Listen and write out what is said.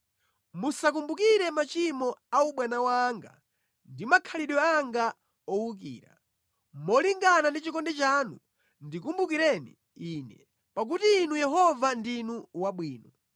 Musakumbukire machimo a ubwana wanga ndi makhalidwe anga owukira; molingana ndi chikondi chanu ndikumbukireni ine, pakuti Inu Yehova ndinu wabwino.